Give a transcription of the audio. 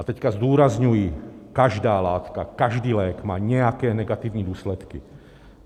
A teď zdůrazňuji, každá látka, každý lék má nějaké negativní důsledky.